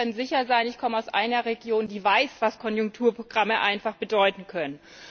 Und Sie können sicher sein, ich komme aus einer Region, die weiß, was Konjunkturprogramme bedeuten können.